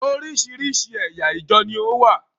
Oríṣiríṣi ẹ̀yà ìjọ ní ó wà.